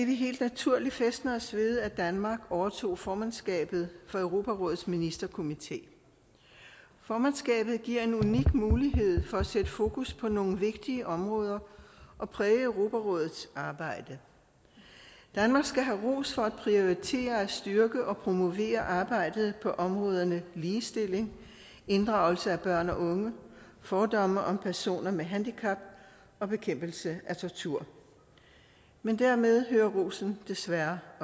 vi helt naturligt fæstner os ved at danmark overtog formandskabet for europarådets ministerkomité formandskabet giver en unik mulighed for at sætte fokus på nogle vigtige områder og præge europarådets arbejde danmark skal have ros for at prioritere at styrke og promovere arbejdet på områderne ligestilling inddragelse af børn og unge fordomme om personer med handicap og bekæmpelse af tortur men dermed hører rosen desværre